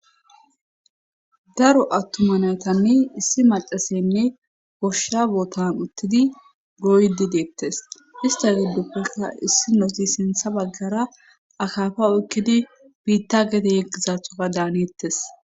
daro attuma naytanne issi macaseyanne goshsha bootan uttidi goydi deettes ista gidoppeka issinoti sintha baggara akafa oykkidi biitta gede yeggizathoka daanittes